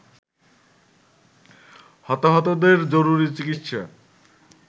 হতাহতদের জরুরি চিকিৎসা